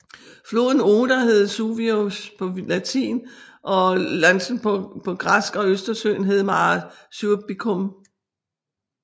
Floden Oder hed Suevus på latin og Συήβος på græsk og østersøen hed Mare Suebicum